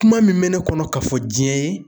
Kuma min bɛ ne kɔnɔ ka fɔ diɲɛ ye